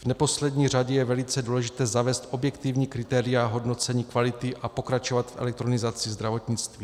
V neposlední řadě je velice důležité zavést objektivní kritéria hodnocení kvality a pokračovat v elektronizaci zdravotnictví.